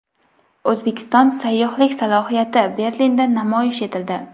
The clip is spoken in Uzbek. O‘zbekiston sayyohlik salohiyati Berlinda namoyish etildi.